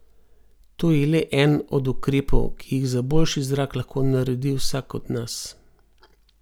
To je le en od ukrepov, ki jih za boljši zrak lahko naredi vsak od nas.